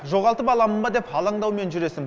жоғалтып аламын ба деп алаңдаумен жүресің